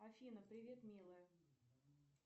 афина привет милая